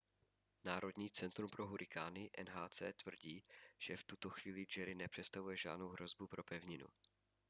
národní centrum pro hurikány nhc tvrdí že v tuto chvíli jerry nepředstavuje žádnou hrozbu pro pevninu